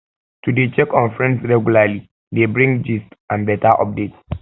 to de check in on friends regularly de bring gist and better update